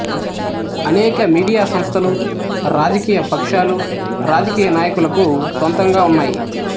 అనేక మీడియా సంస్థలు రాజకీయ పక్షాలు రాజకీయ నాయకులకు స్వంతంగా ఉన్నాయి